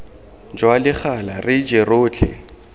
jwa legala re je rotlhe